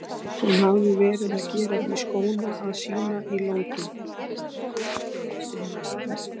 Hún hafði verið að gera því skóna að sýna í London.